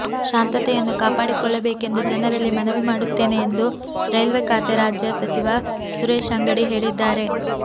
ಶಾಂತತೆಯನ್ನು ಕಾಪಾಡಿಕೊಳ್ಳಬೇಕೆಂದು ಜನರಲ್ಲಿ ಮನವಿ ಮಾಡುತ್ತೇನೆ ಎಂದು ರೈಲ್ವೆ ಖಾತೆ ರಾಜ್ಯ ಸಚಿವ ಸುರೇಶ್ ಅಂಗಡಿ ಹೇಳಿದ್ದಾರೆ